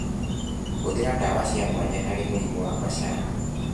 Hũthĩra ndawa cia mwanya harĩ mĩrimũ ya macani.